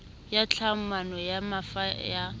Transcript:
ya tlhahlamano ya mafa ya